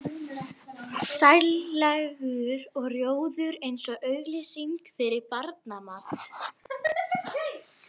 Sællegur og rjóður eins og auglýsing fyrir barnamat.